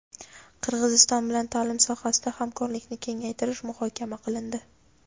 Qirg‘iziston bilan ta’lim sohasida hamkorlikni kengaytirish muhokama qilindi.